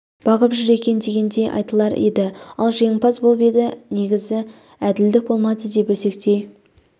бағып жүр екен дегендей айтылар еді ал жеңімпаз болып еді негізі әділдік болмады деп өсектей